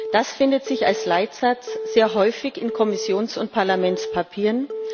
das findet sich als Leitsatz sehr häufig in Kommissions und Parlamentspapieren.